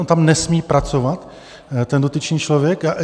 On tam nesmí pracovat, ten dotyčný člověk?